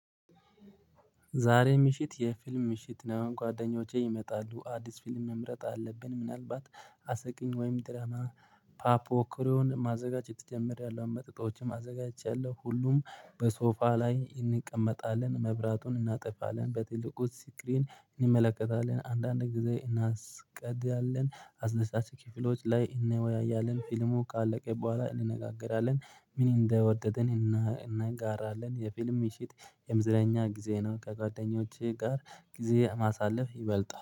ዛሬ ምሽት የፊልም ምሽት ነው። ጓደኞቼ ይመጣሉ አዲስ ፊልም መምረጥ አለብን ምናልባት አስቂኝ ወይም ድራማ። ፓፕ ኮርን ማዘጋጀት ጀምሪያለሁ መጠጦችን አዘጋጅቻለሁ ሁሉም በሶፋ ላይ እንቀመጣለን። መብራቱን እናጠፋለን በትልቁ ስክሪን እንመለከታለን አንዳንድ ጊዜ እንስቃለን አስደሳች ክፍሎች ላይ እንወያያለን። ፊልሙ ቃለቀ በኋላ እንነጋገራለን። ምን እንደወደድን? እናጋራለን የፊልም ምሺት የመዝናኛ ጊዜ ነው። ከጓደኞቼ ጋር ጊዜ ማሳለፍ ይበልጣል